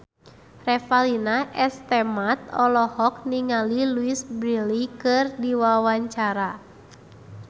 Revalina S. Temat olohok ningali Louise Brealey keur diwawancara